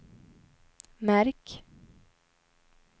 märk